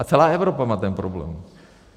A celá Evropa má ten problém.